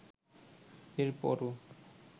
এর পরও